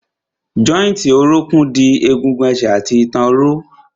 Jọ́ìntì orókún dì egun ẹsẹ̀ àti ìtàn ró.